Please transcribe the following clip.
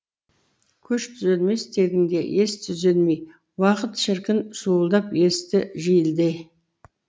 көш түзелмес тегінде ес түзелмей уақыт шіркін суылдап есті желдей